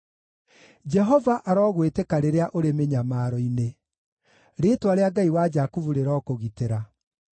Jehova arogwĩtĩka rĩrĩa ũrĩ mĩnyamaro-inĩ; rĩĩtwa rĩa Ngai wa Jakubu rĩrokũgitĩra.